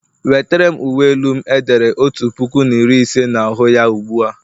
Wetere'm uwe elu m e dere otu puku na iri ise na ahu ya ugbu a!